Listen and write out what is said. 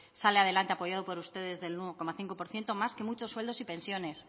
sale adelante apoyada por ustedes del nueve coma cinco por ciento más que muchos sueldos y pensiones